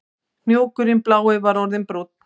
Hnúkurinn blái var orðinn brúnn